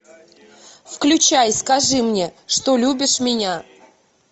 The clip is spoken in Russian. включай скажи мне что любишь меня